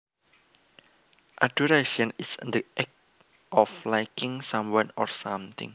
Adoration is the act of liking someone or something